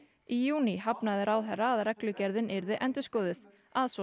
í júní hafnaði ráðherra að reglugerðin yrði endurskoðuð að svo